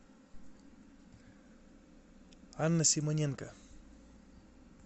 анна симоненко